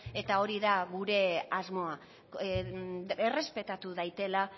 eta hori da gure asmoa errespetatu daitela